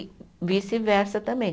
E vice-versa também.